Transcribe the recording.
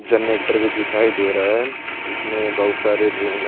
Generator भी दिखाई दे रहा है इसमें बहुत सारे रूम है।